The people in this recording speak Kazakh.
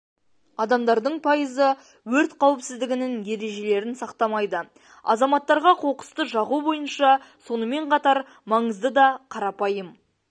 адамдардың пайызы өрт қауіпсіздігінің ережелерін сақтамайды азаматтарға қоқысты жағу бойынша сонымен қатар маңызды да қарапайым